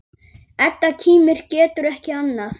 Edda kímir, getur ekki annað.